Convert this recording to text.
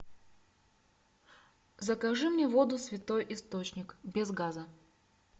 закажи мне воду святой источник без газа